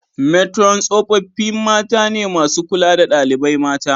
Metron tsofaffi mata ne masu kula da dalibai mata.